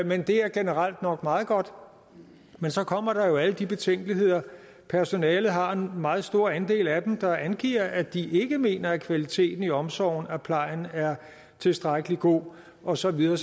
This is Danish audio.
men det er generelt nok meget godt men så kommer der alle de betænkeligheder personalet har en meget stor andel af dem der angiver at de ikke mener at kvaliteten i omsorgen og plejen er tilstrækkelig god og så videre